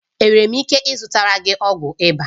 Enwere m ike ịzụtara gị ọgwụ ịba?